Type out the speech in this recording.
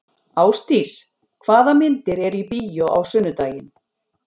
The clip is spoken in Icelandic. Ásdís, hvaða myndir eru í bíó á sunnudaginn?